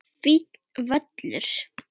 Fínn völlur.